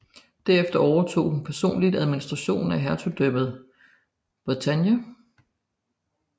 Derefter overtog hun personligt administrationen af hertugdømmet Bretagne